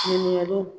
Ɲininkaliw